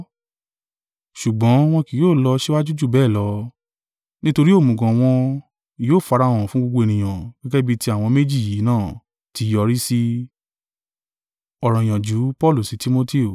Ṣùgbọ́n wọn kì yóò lọ síwájú ju bẹ́ẹ̀ lọ, nítorí òmùgọ̀ wọn yóò farahàn fún gbogbo ènìyàn gẹ́gẹ́ bí ti àwọn méjì yìí náà, ti yọrí si.